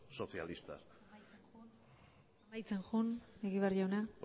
socialistas amaitzen joan egibar jauna